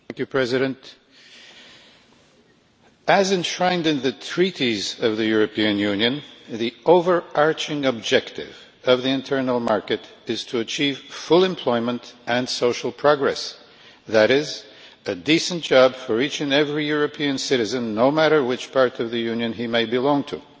Mr President, as enshrined in the Treaties of the European Union, the overarching objective of the internal market is to achieve full employment and social progress, that is, a decent job for each and every European citizen no matter which part of the Union he may belong to.